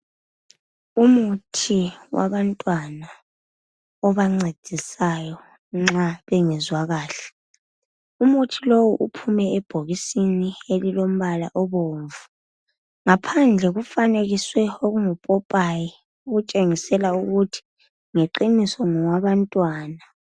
Umuthi wabantwana obancedisayo nxa bengezwa kuhle , umuthi lowu uphume ebhokisini elilombala obomvu ngaphandle kufanekiswe okungupopayi okutshengisela ukuthi ngeqiniso ngowaba ntwana.